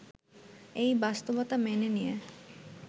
এই বাস্তবতা মেনে নিয়ে